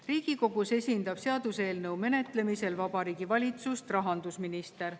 Riigikogus esindab seaduseelnõu menetlemisel Vabariigi Valitsust rahandusminister.